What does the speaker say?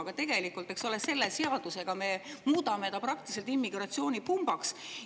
Aga tegelikult, eks ole, selle seadusega me muudame ta praktiliselt immigratsioonipumbaks.